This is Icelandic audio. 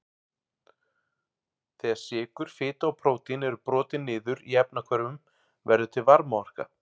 Þegar sykur, fita og prótín eru brotin niður í efnahvörfum verður til varmaorka.